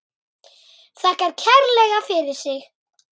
Þakkar kærlega fyrir sig.